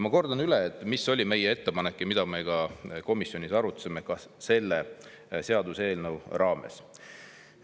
Ma kordan üle, mis oli meie ettepanek, mida me ka komisjonis arutasime selle seaduseelnõu raames.